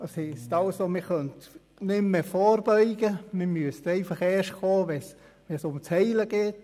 wir könnten nicht mehr vorbeugen, wir könnten erst tätig werden, wenn es ums Heilen geht.